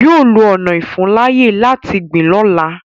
Yọ lọ ọna ìfuńláyè láti gbìn lọ́la.